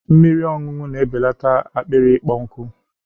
Mmiri ọṅụṅụ na-ebelata akpịrị ịkpọ nkụ